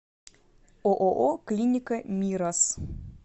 ооо клиника мирас